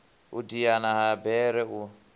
u diana ha bere u